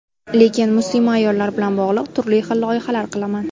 Lekin muslima ayollar bilan bog‘liq turli xil loyihalar qilaman.